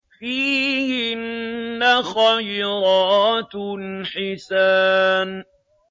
فِيهِنَّ خَيْرَاتٌ حِسَانٌ